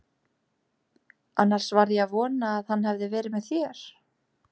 Annars var ég að vona að hann hefði verið með þér.